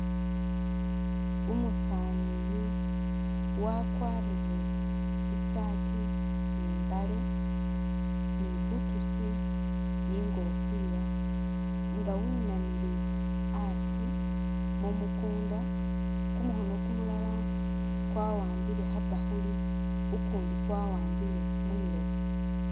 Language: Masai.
Umusaani uyu wakwarire isaati ni imbaale ni boots ni ingofira nga winamile asi mumukunda, kumukhono kumulala kwawambile khabakhuli ukundi kwawambile mwiloba